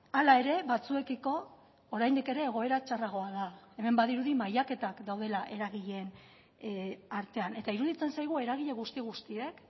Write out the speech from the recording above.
hala ere batzuekiko oraindik ere egoera txarragoa da hemen badirudi mailaketak daudela eragileen artean eta iruditzen zaigu eragile guzti guztiek